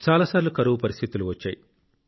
చాలా సార్లు కరువు పరిస్థితులు వచ్చాయి